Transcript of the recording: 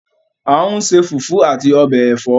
A n se fufu ati obe èfọ́